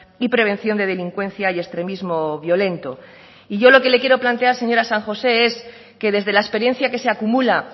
y prevención de delincuencia y extremismo violento y yo lo que le quiero plantear señora san josé es que desde la experiencia que se acumula